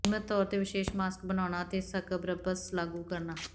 ਨਿਯਮਤ ਤੌਰ ਤੇ ਵਿਸ਼ੇਸ਼ ਮਾਸਕ ਬਣਾਉਣਾ ਅਤੇ ਸਕ੍ਰਬਸ ਲਾਗੂ ਕਰਨਾ